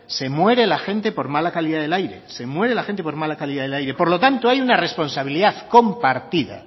se muere la gente por mala calidad del aire se muere la gente por mala calidad del aire por lo tanto hay una responsabilidad compartida